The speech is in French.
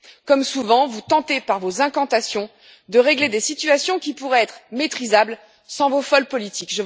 Comme souvent, vous tentez par vos incantations de régler des situations qui pourraient être maîtrisables sans vos folles politiques.